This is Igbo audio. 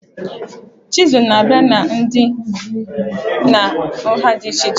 Chizul na-abịa na ụdị na nha dị iche iche